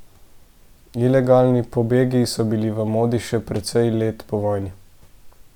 Ilegalni pobegi so bili v modi še precej let po vojni.